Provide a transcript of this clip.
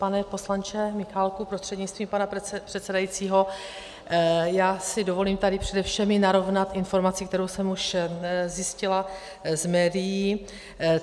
Pane poslanče Michálku prostřednictvím pana předsedajícího, já si dovolím tady přede všemi narovnat informaci, kterou jsem už zjistila z médií.